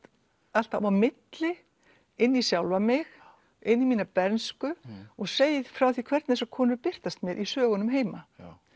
alltaf á milli inn í sjálfa mig inn í mína bernsku og segi frá hvernig þessar konur birtast mér í sögunum heima